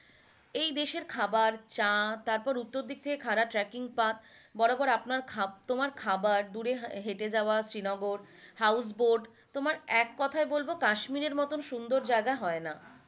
এই দেশের খাবার, চা, তারপর উত্তর দিক থেকে খাড়া ট্রেককিং path বরাবর আপনার খা~ তোমার খাবার দূরে হেটে যাওয়া শ্রীনগর house boat তোমার এক কোথায় বলবো কাশ্মীরের মতো সুন্দর জায়গা হয় না,